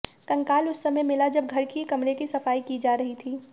कंकाल उस समय मिला जब घर की कमरे की सफाई की जा रही थी